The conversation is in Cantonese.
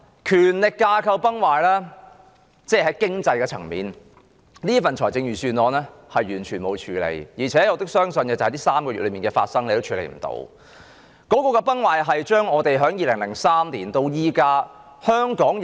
權力架構崩壞，在經濟層面上，這份預算案完全沒有處理問題，而且我亦相信它無法處理這3個月以來發生的事情。